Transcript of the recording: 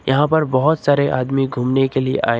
यहां पर बहुत सारे आदमी घूमने के लिए आए--